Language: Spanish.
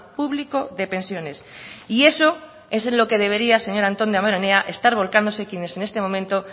público de pensiones y eso es en lo que debería señor antón damborenea estar volcándose quienes en este momento